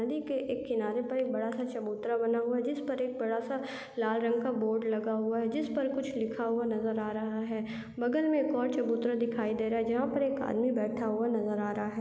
नदी के एक किनारा एक बड़ा-सा चबूतरा बना हुआ है जिस पर बडाँ सा लाल रंग का बोर्ड लगा हुआ है जिस पर कुछ लिखा हुआ नज़र आ रहा है बगल मे एक और चबुतरा नज़र आ रहा है जिस पर एक आदमी बैठा हुआ नज़र आ रहा है।